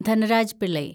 Dhanraj Pillay